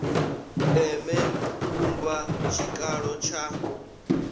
ndeme u vhumba tshikalo tsha